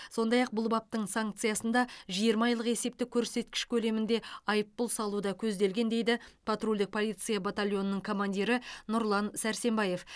сондай ақ бұл баптың санкциясында жиырма айлық есептік көрсеткіш көлемінде айыппұл салу да көзделген дейді патрульдік полиция батальонының командирі нұрлан сарсенбаев